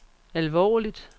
alvorligt